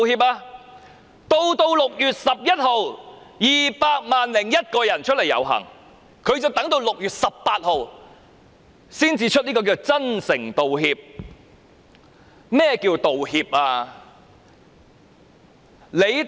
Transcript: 在6月16日有 2,000 001人遊行，她仍要等到6月18日才作出所謂真誠道歉，甚麼是道歉？